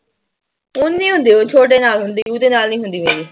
ਓਨੀ ਹੁੰਦੀ ਛੋਟੇ ਨਾਲ ਹੁੰਦੀ ਉਹਦੇ ਨਾਲ ਨੀ ਹੁੰਦੀ ਮੇਰੀ।